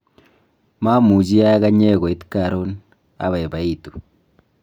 mamuchi akanye koit karon, abaibaitu